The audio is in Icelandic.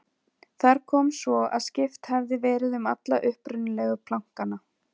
Þar kom svo að skipt hafði verið um alla upprunalegu plankana.